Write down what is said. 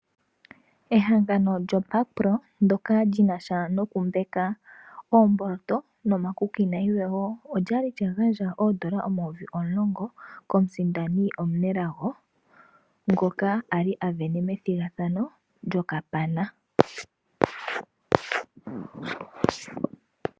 Ehangano lyo Backpro ndyoka lyi nasha noku mbaka oomboloto no makuki nayilwe woo, olyali lya gandja oondola omayovi omulongo, ko musindani omunelago ngoka ali asindana, methigathano lyo kapana.